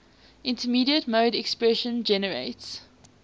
immediate mode expression generates